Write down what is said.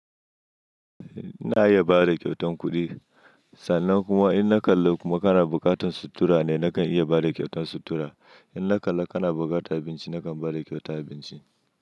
Na iya bada kyautan kuɗi, sannan kuma in na kalla kuma kana buƙatar sutura ne nakan iya bada kyautan sutura. In na kalla kana buƙatar abinci nakan bada kyauta abinci.